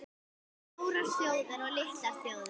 STÓRAR ÞJÓÐIR OG LITLAR ÞJÓÐIR